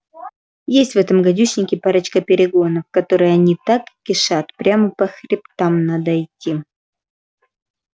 есть в этом гадюшнике парочка перегонов в которых они так кишат прямо по хребтам надо идти